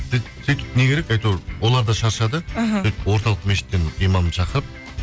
сөйтіп не керек әйтеуір олар да шаршады іхі сөйтіп орталық мешіттен имамды шақырып